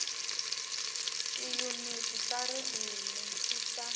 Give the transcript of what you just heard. tiyuniti ta ririmi ti ta